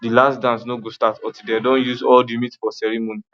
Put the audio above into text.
the last dance no go start until dem don share all the meat for ceremony